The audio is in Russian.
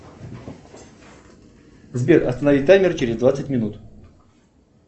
сбер останови таймер через двадцать минут